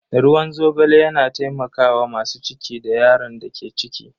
Ruwan zogale yana taimakawa masu ciki da yaron da ke ciki.